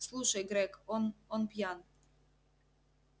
слушай грег он он пьян